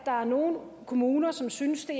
der er nogle kommuner som synes at